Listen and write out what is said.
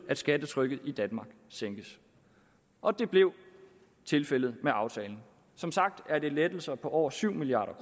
at skattetrykket i danmark sænkes og det blev tilfældet med aftalen som sagt er det lettelser på over syv milliard